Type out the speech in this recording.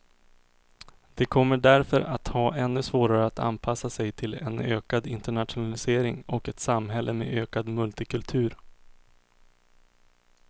De kommer därför att ha ännu svårare att anpassa sig till en ökad internationalisering och ett samhälle med ökad multikultur.